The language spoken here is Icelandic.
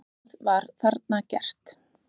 Það var þarna gert.